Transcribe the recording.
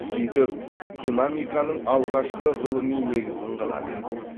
сөйтіп динамиканың алғашқы ғылыми негізін қалады